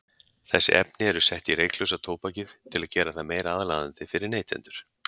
Þessi efni eru sett í reyklausa tóbakið til að gera það meira aðlaðandi fyrir neytendur.